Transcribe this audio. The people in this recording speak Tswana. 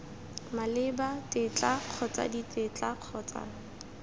maleba tetla kgotsa ditetla kgotsa